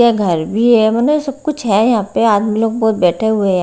यह घर भी है सब कुछ है यहां पे आदमी लोग बहोत बैठे हुए हैं।